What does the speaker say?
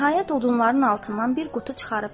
Nəhayət odunların altından bir qutu çıxarıb gətirir.